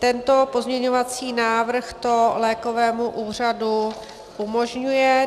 Tento pozměňovací návrh to lékovému úřadu umožňuje.